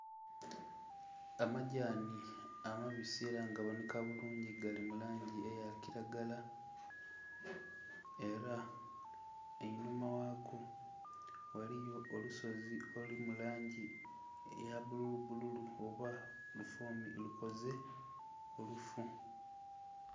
Amadhani amabisi era nga ga bonheka bulungi gali mu langi eya kilagala era einhuma gha go ghaliyo olusozi oluli mu langi eya bululu bululu oba lukoze olufu.